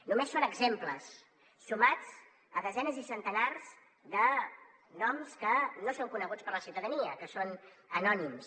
només són exemples sumats a desenes i centenars de noms que no són coneguts per la ciutadania que són anònims